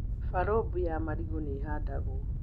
Barũmbu ya marigũ nĩ ihandagwo.